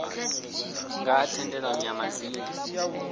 nga ha thendelano ya madzina